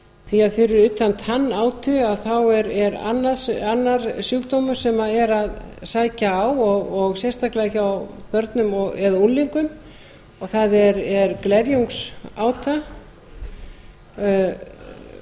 því að fyrir utan tannátu er annar sjúkdómur sem er að sækja á og sérstaklega hjá börnum eða unglingum og það er glerjungsáta